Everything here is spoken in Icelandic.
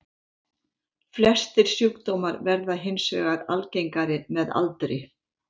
Flestir sjúkdómar verða hins vegar algengari með aldri.